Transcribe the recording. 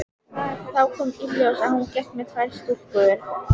Þá kom í ljós að hún gekk með tvær stúlkur.